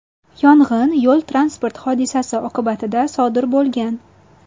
Yong‘in yo‘l-transport hodisasi oqibatida sodir bo‘lgan.